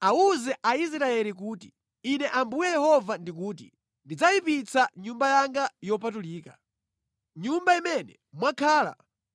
‘Awuze Aisraeli kuti: Ine Ambuye Yehova ndikuti: ndidzayipitsa Nyumba yanga yopatulika, nyumba imene mwakhala